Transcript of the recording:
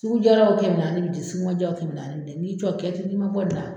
Sugu jaraw kɛmɛ naani bi di sugu ma jaw kɛmɛ naani bi di k'i jɔ kiyatu nin ma bɔ in na